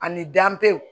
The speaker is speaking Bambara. Ani danpew